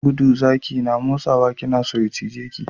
Gudu zaki na matsowa, kina so ya cije ki?